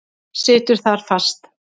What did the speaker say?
Situr þar fast.